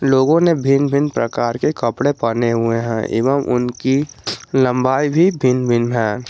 लोगों ने भिन्न भिन्न प्रकार के कपड़े पहने हुए हैं एवं उनकी लंबाई भी भिन्न भिन्न है।